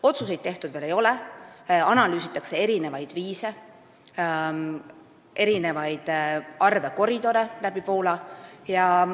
Otsuseid tehtud veel ei ole, analüüsitakse erinevaid viise, erinevaid arve, mis puudutavad läbi Poola minevaid koridore.